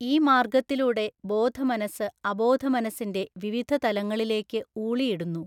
ഈ മാർഗ്ഗത്തി ലൂടെ ബോധമനസ്സ് അബോധമനസ്സിന്റെ വിവിധ തലങ്ങളിലേക്ക് ഊളിയിടുന്നു.